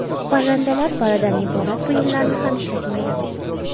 Parrandalar paridan iborat buyumlarni ham ishlatmaydi.